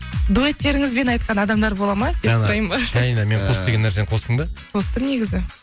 дуэттеріңізбен айтқан адамдар бола ма деп сұрайын ба қос деген нәрсені қостың ба қосытым негізі